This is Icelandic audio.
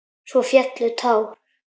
Svo féllu tár.